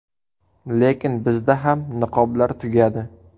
Lekin bizda ham niqoblar tugadi”.